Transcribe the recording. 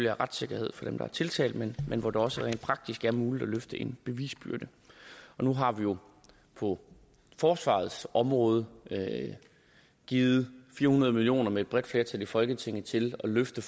er retssikkerhed for dem der er tiltalt men hvor det også rent praktisk er muligt at løfte en bevisbyrde nu har vi jo på forsvarets område givet fire hundrede million kroner med et bredt flertal i folketinget til at løfte